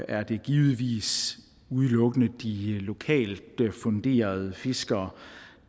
er det givetvis udelukkende de lokalt funderede fiskere